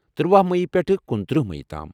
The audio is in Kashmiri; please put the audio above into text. ترواہ مٔیی پٮ۪ٹھہٕ کنُتٕرہ مٔیی تام۔